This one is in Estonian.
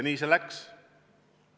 Nii see läks.